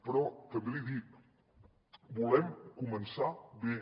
però també li dic volem començar bé